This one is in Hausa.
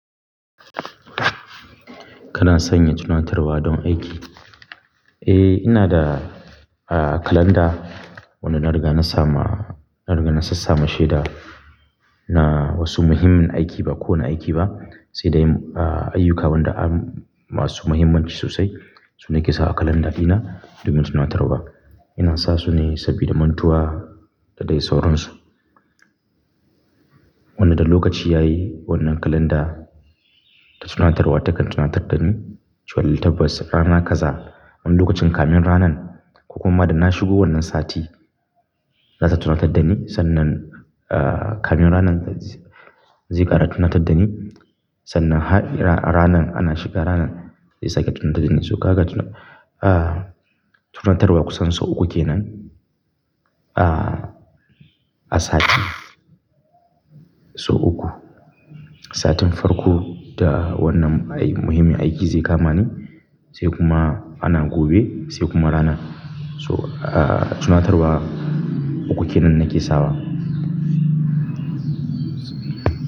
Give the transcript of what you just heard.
Kana sanya tunatarwa don aiki? Eh, ina da, ah, kalanda wanda na riga na sama, na riga na sassama shaida na wasu muhimmin aiki ba kowane aiki ba, sai dai, ah, ayyuka wanda an masu muhimmanci sosai sune ke sawa kalanda ɗina domin tunatarwa. Ina sa su ne sabida mantuwa da dai sauransu. Wanda da lokaci ya yi wannan kalanda ta tunatarwa takan tunatar da ni cewa eh tabbas rana kaza. Wani lokacin kamun ranan ko kuma da na shigo wannan sati, za ta tunatar da ni sannan, ah, kamun ranan zai ƙara tunatar da ni sannan har ranan ana shiga ranan zai sake tunatar da ni. So haka ka tuna, ah, tunatarwa kusan sau uku kenan, ah, a sati. Sau uku. Satin farko da wannan ai muhimmin aiki zai kama ni, sai kuma ana gobe, sai kuma ranan. So, ah, tunatarwa uku kenan nake sawa.